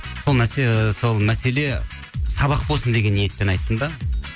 сол мәселе сабақ болсын деген ниетпен айттым да